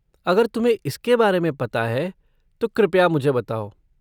अगर तुम्हें इसके बारे में पता है तो कृपया मुझे बताओ।